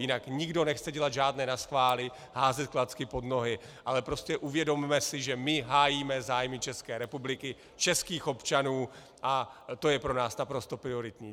Jinak nikdo nechce dělat žádné naschvály, házet klacky pod nohy, ale prostě uvědomme si, že my hájíme zájmy České republiky, českých občanů, a to je pro nás naprosto prioritní.